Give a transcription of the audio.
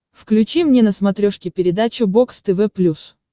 включи мне на смотрешке передачу бокс тв плюс